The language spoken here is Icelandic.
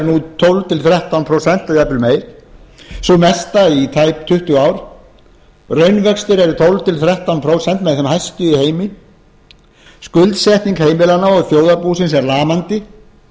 nú tólf til þrettán prósent eða jafnvel meir sú mesta í tæp tuttugu ár raunvextir eru tólf til þrettán prósent með þeim hæstu í heimi skuldsetning heimilanna og þjóðarbúsins er lamandi